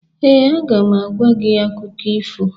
Ee, a ga m agwa gị akụkọ ifo